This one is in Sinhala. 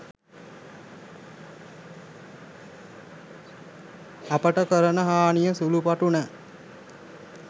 අපට කරන හානිය සුළු පටු නෑ.